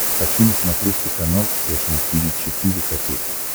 хочу на смотрешке канал фэшн ти ви четыре ка